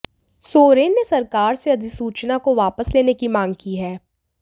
सोरेन ने सरकार से अधिसूचना को वापस लेने की मांग की है